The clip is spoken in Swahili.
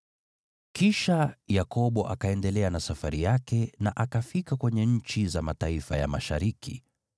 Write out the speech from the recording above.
Kisha Yakobo akaendelea na safari yake na akafika kwenye nchi za mataifa ya mashariki.